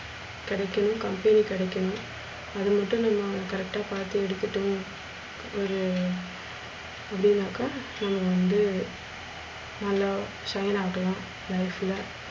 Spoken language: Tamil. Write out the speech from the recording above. கிடைக்கணும் company கிடைக்கணும். அது மட்டுமில்லாம correct பாத்து எடுத்துட்டோம். ஒரு அப்டினாக்க நாம வந்து நல்லா shine ஆகலா life ல.